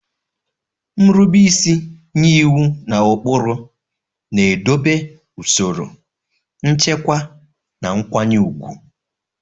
Nrube isi nye iwu na ụkpụrụ na-edobe usoro, nchekwa, na nkwanye ùgwù.